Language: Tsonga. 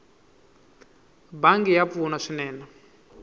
bangi ya pfuna swinene